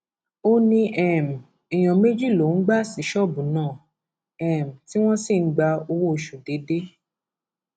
ó ní um èèyàn méjì lòún gbà sí ṣọọbù náà um tí wọn sì ń gba owóoṣù déédé